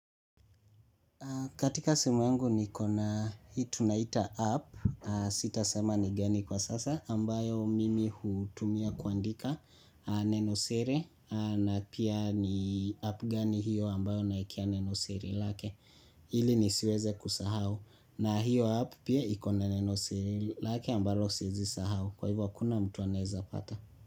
Katika simu yangu nikona hii tunaita app, sitasema ni gani kwa sasa ambayo mimi hutumia kuandika nenosiri na pia ni app gani hiyo ambayo naekea nenosiri lake ili nisiweze kusahau na hiyo app pia ikona nenosiri lake ambalo siezi sahau kwa hivyo hakuna mtu anaeza pata.